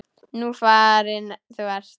Nú farin þú ert.